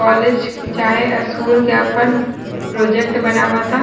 College चाहे school के अपन प्रोजेक्ट बनावता।